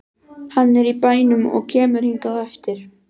Hann er í bænum og kemur hingað á eftir.